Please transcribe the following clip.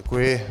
Děkuji.